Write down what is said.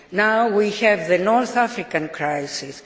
Now we have the North African crisis.